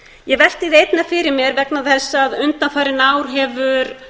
ég velti því einnig fyrir mér vegna þess að undanfarin ár hefur